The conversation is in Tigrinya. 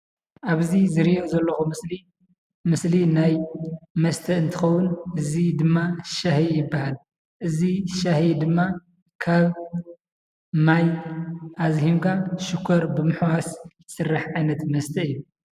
ኣብዚ ዝሪኣ ዘለኹ ምስሊ ምስሊ ናይ መስተ እንትኸውን እዚ ድማ ሻሂ ይበሃል፡፡ እዚ ሻሂ ድማ ካብ ማይ ኣዝሂምካ ሽኾር ብምሕዋስ ዝስራሕ ዓይነት መስተ እዩ፡፡